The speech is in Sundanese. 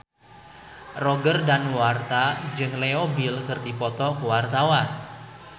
Roger Danuarta jeung Leo Bill keur dipoto ku wartawan